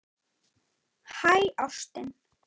Hæ, ástin.